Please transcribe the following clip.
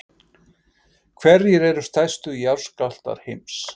Hverjir eru stærstu jarðskjálftar heims?